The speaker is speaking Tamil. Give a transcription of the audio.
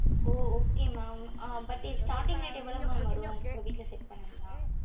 ஓ okay mam but இது starting rate எவளோ mam வரும் இப்போ வீட்டுல set பண்ணணும்ன